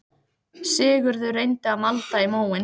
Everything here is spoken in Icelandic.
Sigurður reyndi að malda í móinn